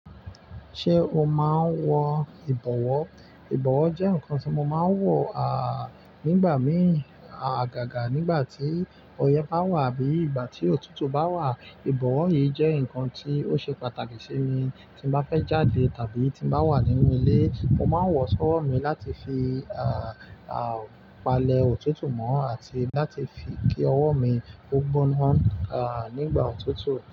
Ṣé o máa ń wọ ìbọwọ́? Ìbọwọ́ jẹ́ nǹkan tí mo máa ń wọ, ah, nígbà mìí, ah, gágà nígbà tí ọyẹ́ bá wà bí ìgbà tí òtútù bá wà. Ìbọwọ́ yìí jẹ́ nǹkan tí ó ṣe pàtàkì sí mi. Tí mo bá fẹ́ jáde tàbí tí mo bá wà nínú ilé, mo máa ń wọ ọ sọ́wọ́ mi láti fi, ah, ah, palẹ̀ òtútù mọ́ àti láti fi kí ọwọ́ mi ó gbóná, ah, nígbà òtútù.